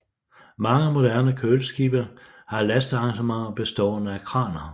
Mange moderne køleskibe har lastearrangementer bestående af kraner